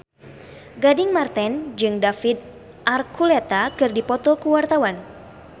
Gading Marten jeung David Archuletta keur dipoto ku wartawan